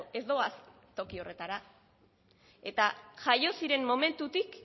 ez doaz toki horretara eta jaio ziren momentutik